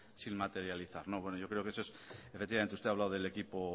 sin materializar no bueno yo creo que eso es efectivamente usted ha hablado del equipo